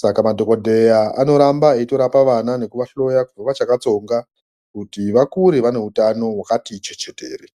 saka madhokodheya anoramba eitorapa vana nekuvahloya kubva vachakatsonga kuti vakure vane utano wakati chechetere.